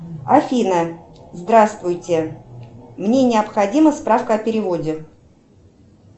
афина здравствуйте мне необходима справка о переводе